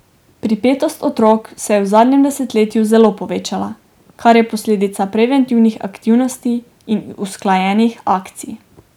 Pripetost otrok se je v zadnjem desetletju zelo povečala, kar je posledica preventivnih aktivnosti in usklajenih akcij.